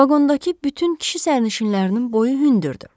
Vaqondakı bütün kişi sərnişinlərinin boyu hündürdür.